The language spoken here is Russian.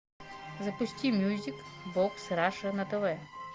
запусти мюзик бокс раша на тв